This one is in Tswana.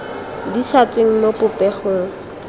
di sa tsweng mo popegong